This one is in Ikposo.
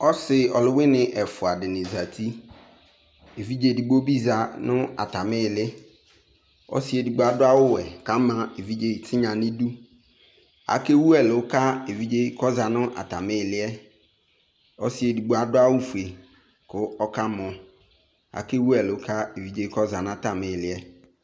Ɔsɩ ɔlʋwɩnɩ ɛfʋadɩnɩ zati : evidze edigbo bɩ za nʋ atamɩ ɩɩlɩ Ɔsɩ edigbo adʋ awʋwɛ k'ama evidze tinya n'idu ; akewu ɛlʋ ka evidzee k'ɔza n'tamɩ ɩɩlɩ yɛ Ɔsɩ edigbo adʋ awʋfue kʋ ɔkamɔ ; akewu ɛlʋ ka evidzee k'ɔza n'atamɩ ɩɩlɩ yɛ